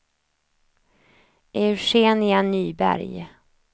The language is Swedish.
Eugenia Nyberg